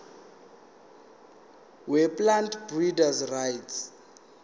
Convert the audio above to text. weplant breeders rights